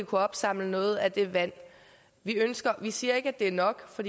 kunne opsamle noget af det vand vi ønsker vi siger ikke at det er nok for